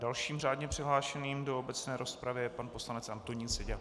Dalším řádně přihlášeným do obecné rozpravy je pan poslanec Antonín Seďa.